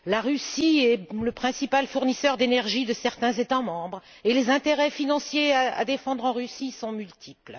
La Russie est le principal fournisseur d'énergie de certains États membres et les intérêts financiers à défendre en Russie sont multiples.